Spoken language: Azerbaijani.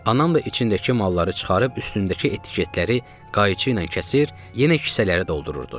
Anam da içindəki malları çıxarıb üstündəki etiketləri qayçı ilə kəsir, yenə kisələrə doldururdu.